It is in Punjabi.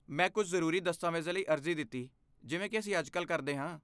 ਮੈਂ ਕੁਝ ਜ਼ਰੂਰੀ ਦਸਤਾਵੇਜ਼ਾਂ ਲਈ ਅਰਜ਼ੀ ਦਿੱਤੀ ਜਿਵੇਂ ਕਿ ਅਸੀਂ ਅੱਜਕੱਲ੍ਹ ਕਰਦੇ ਹਾਂ।